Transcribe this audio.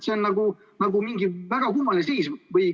See on mingi väga kummaline seis.